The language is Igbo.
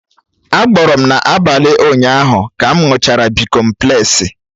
Á gboọ́rọ́ m n'abalị ụnyaahụ ka m ṅụrụ bịkọmplesi